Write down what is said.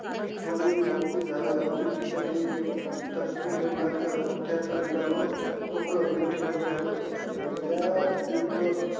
थोडी मोकळी जागा होती. तिथं ते एक तपकिरी रंगाच पुठ्ठ्याच रिकामं खोकं, मी ठेवलं होतं आणि त्या tube वर